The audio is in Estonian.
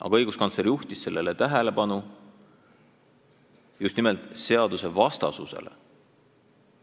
Aga õiguskantsler juhtis tähelepanu just nimelt eelnõu seadusvastasusele.